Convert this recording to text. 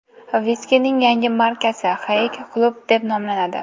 Viskining yangi markasi Haig Club deb nomlanadi.